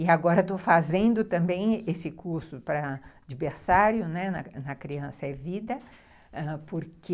E agora estou fazendo também esse curso para, de berçário, né, na Criança é Vida, porque...